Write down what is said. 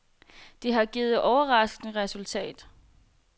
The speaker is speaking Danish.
Det har givet overraskende resultatet.